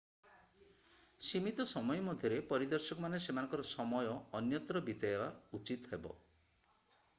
ସୀମିତ ସମୟ ମଧ୍ୟରେ ପରିଦର୍ଶକମାନେ ସେମାନଙ୍କ ସମୟ ଅନ୍ୟତ୍ର ବିତେଇବା ଉଚିତ ହେବ